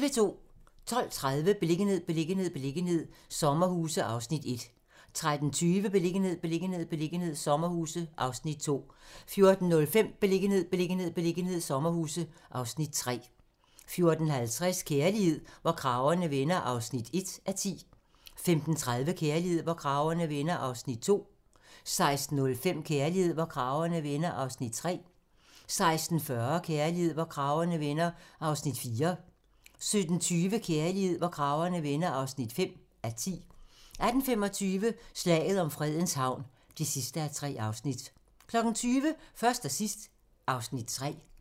12:30: Beliggenhed, beliggenhed, beliggenhed - sommerhuse (Afs. 1) 13:20: Beliggenhed, beliggenhed, beliggenhed - sommerhuse (Afs. 2) 14:05: Beliggenhed, beliggenhed, beliggenhed - sommerhuse (Afs. 3) 14:50: Kærlighed, hvor kragerne vender (1:10) 15:30: Kærlighed, hvor kragerne vender (2:10) 16:05: Kærlighed, hvor kragerne vender (3:10) 16:40: Kærlighed, hvor kragerne vender (4:10) 17:20: Kærlighed, hvor kragerne vender (5:10) 18:25: Slaget om Fredens Havn (3:3) 20:00: Først og sidst (Afs. 3)